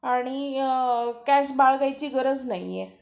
आणि कॅश बाळगायची गरज नाहीए.